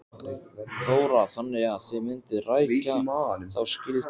Þóra: Þannig að þið mynduð rækja þá skyldu?